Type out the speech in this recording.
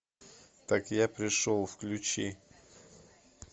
так я пришел включи